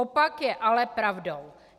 Opak je ale pravdou.